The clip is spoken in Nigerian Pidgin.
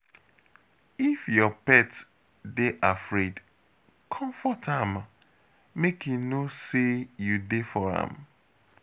If your pet dey afraid, comfort am, make e know sey you dey for am.